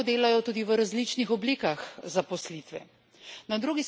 Prav tako lahko delajo tudi v različnih oblikah zaposlitve.